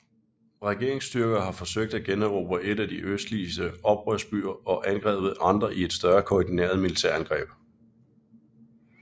Regeringsstyrker har forsøgt at generobre en af de østlige oprørsbyer og angrebet andre i et større koordineret militærangreb